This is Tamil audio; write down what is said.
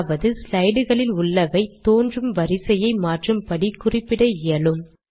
அதாவது ஸ்லைட்களில் உள்ளவை தோன்றும் வரிசையை மாற்றும் படி குறிப்பிட இயலும்